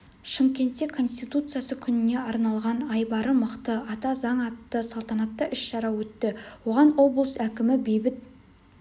шымкентте конституциясы күніне арналған айбары мықты ата заң атты салтанатты іс-шара өтті оған облыс әкімі бейбіт